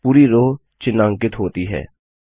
पूरी रो चिन्हांकित होती है